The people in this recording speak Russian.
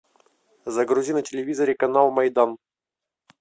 загрузи на телевизоре канал майдан